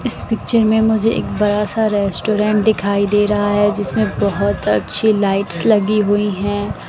इस पिक्चर में मुझे एक बड़ा सा रेस्टोरेंट दिखाई दे रा है जिसमें बहोत अच्छी लाइट्स लगी हुई है।